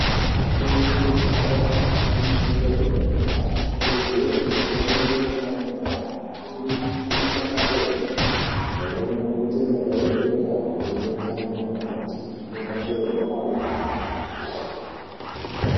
Afundi ezvikora zvepamusoro edera dera anokurudzirwe kutsamwirire pafundo yawo amweni agone mabasa enyara amweni agoite madhokodheya amweni agoite ana mukoti zvinobatsire nharaunda.